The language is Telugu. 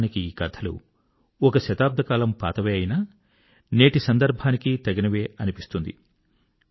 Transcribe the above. వాస్తవానికి ఈ కథలు ఒక శతాబ్దకాలం పాతవే అయినా నేటి సందర్భానికీ తగినవే అనిపిస్తుంది